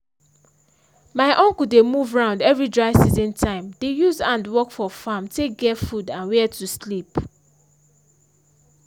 my uncle dey move round every dry season time dey use hand work for farm take get food and where to sleep.